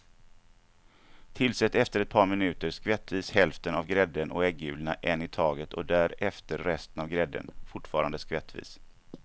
Tillsätt efter ett par minuter skvättvis hälften av grädden och äggulorna en i taget och därefter resten av grädden, fortfarande skvättvis.